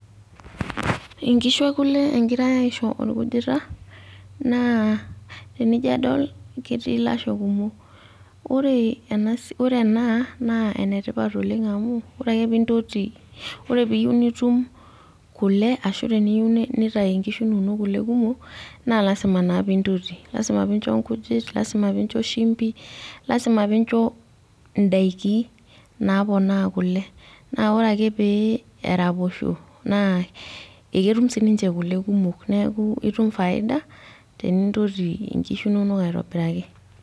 inkishu ekule egirae asiho orkujita naa, tenijo adol ketii ilasho kumok. ore ena naa enetipat oleng amu ore peeiyieu nitum kule ashu teniyieu nitayu nkishu inonok kule kumok naa lasima naa pee intoti. lasima pee incho nkujit lasima pee incho shumpi. lasima pee incho idaikinapoonaa kule. naa ore ake pee eraposho naa ketum sii ninche kule kumok. nitum faida. neeku lasima pee intoti nkishu inonok aitobiraki.